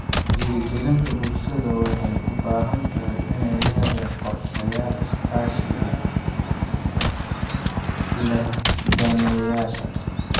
Dhiirrigelinta bulshada waxay u baahan tahay inay leedahay qorsheyaal iskaashi la leh daneeyayaasha.